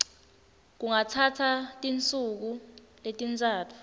kungatsatsa tinsuku letintsatfu